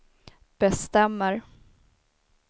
bestämmer